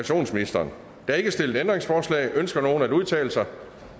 der er ikke stillet ændringsforslag ønsker nogen at udtale sig